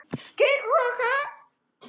Logn og skýjað.